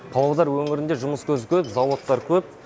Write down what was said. павлодар өңірінде жұмыс көзі көп заводтар көп